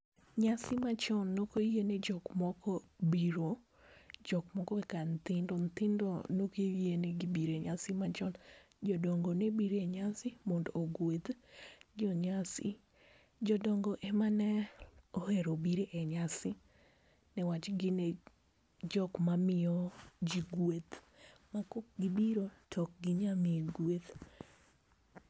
Nyasi ma chon ne ok oyie ni jok moko biro, jok moko kaka nyithindo ne ok oyie negi biro enyasi machon. Jodongo ne biro enyasi mondo ogwedh jonyasi. Jodongo emane ohero biro e nyasi niwach gin e jok mamiyo ji gweth, ma kaok gibiro to ok ginyal miyi gweth.